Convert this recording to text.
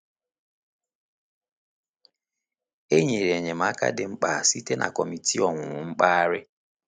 E nyere enyemaka dị mkpa site na Kọmitii Owuwu Mpaghara.